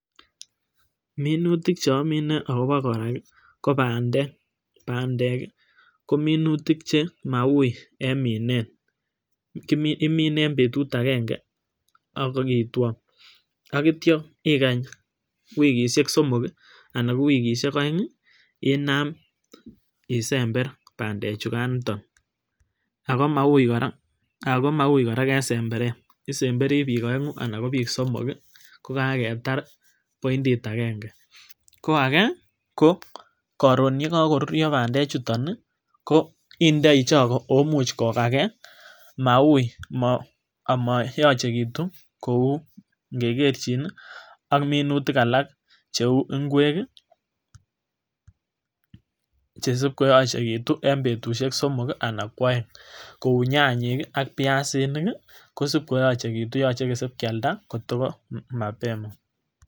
minutik cheomine akobo koraa ko pandek, pandek kii ko minutik che maui en minet imine en betut agenge ak itwo ak ityo ikach wikishek somok kii ana ko wikishek oeng inam isember pandek chukan niton ako maui koraa en semberet isemberi bich oegu anan ko somok ko kaketar poindit agenge, ko age ko korun yekokoruryo pandek chuton nii ko indoi choko oo imuch kokagee maui ako moyochekitu kou ikekerchin nii ak minutik alak cheu ingwek kii chesip koyochekitu en betushek somok kii anan ko oeng kou nyanyik ki ak piasinik kosikoyochekitu yoche kisikialda kota ko mapema.